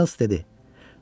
Miles dedi: